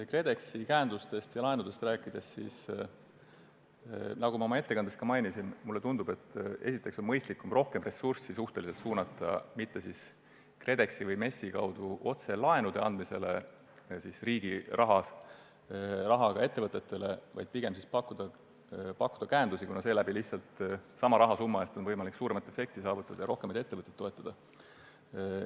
KredExi käendustest ja laenudest rääkides – nagu ma oma ettekandes mainisin – tundub mulle, et esiteks on mõistlikum mitte suunata nii palju ressurssi KredExi või MES-i kaudu otselaenude andmisse, vaid pigem pakkuda käendusi, kuna seeläbi on sama rahasumma eest võimalik saavutada suurem efekt ja toetada rohkem ettevõtteid.